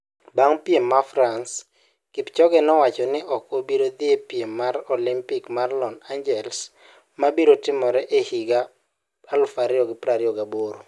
Bang piem ma France ,kipchoge ne owacho ni ok obiro dhi e piem mar olimpik mar Lon angeles mabiro timore e higa 2028